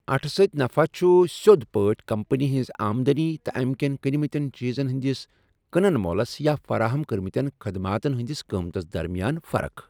اٹھ سۭتۍ نفع چُھ سِیود پٲٹھۍ كمپنی ہنزِ آمدنی تہٕ امِكین كٕنِمتین چیزن ہندِس كٕنن مو٘لس یا فراہم كرِمتین خدماتن ہندِس قۭمتس درمِیان فرق ۔